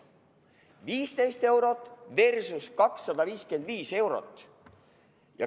15 eurot versus 255 eurot.